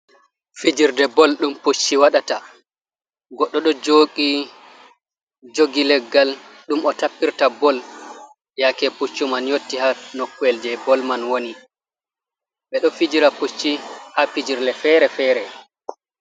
Fijirde bol ɗum Pucci waɗata goɗɗo ɗo jogi leggal ɗum o tappirta bol yake Puccu man yotti ha nokko'el je bol man woni. Ɓe ɗo fijira Pucci ha fijirde fere-fere.